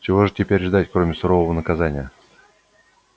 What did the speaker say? чего же теперь ждать кроме сурового наказания